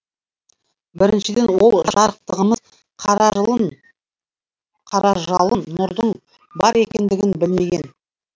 біріншіден ол жарықтығымыз қаражалын нұрдың бар екендігін білмеген